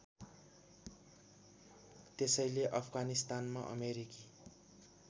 त्यसैले अफगानिस्तानमा अमेरिकी